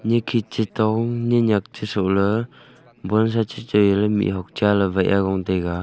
nyi khit chatong nyi nyak chasuh la ban sa chachui mi hok cha wai ah gong taiga.